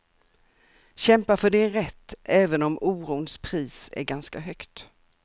Kämpa för din rätt även om orons pris är ganska högt.